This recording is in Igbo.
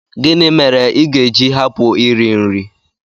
Gịnị mere i ga-eji hapụ iri nri?